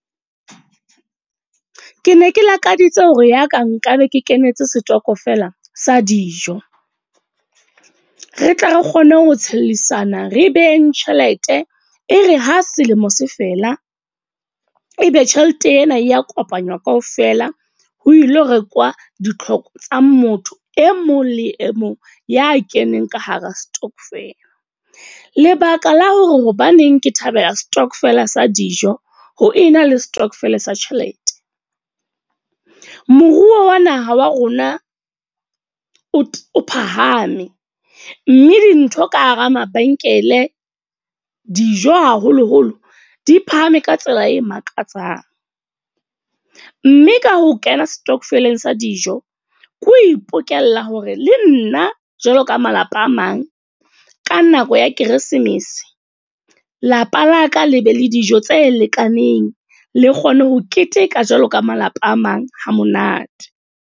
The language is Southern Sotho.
Ke ne ke lakaditse hore ya ka nka be ke kenetse stockvel-a sa dijo. Re tle re kgone ho tshellisana, re behaleng tjhelete. E re ha selemo se fela, e be tjhelete ena ya kopanywa kaofela ho ilo rekwa ditlhoko tsa motho e mong le e mong ya keneng ka hara stokvel. Lebaka la hore hobaneng ke thabela stokvel a sa dijo ho ena le stockvel sa tjhelete. Moruo wa naha wa rona o phahame. Mme dintho ka hara mabenkele, dijo haholo-holo di phahame ka tsela e makatsang Mme ka ho kena stockvel sa dijo, ke ho ipokelle hore le nna jwaloka malapa a mang. Ka nako ya Keresemese, lapa la ka le be le dijo tse lekaneng. Le kgone ho keteka jwalo ka malapa a mang ha monate.